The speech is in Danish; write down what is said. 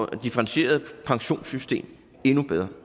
differentieret pensionssystem endnu bedre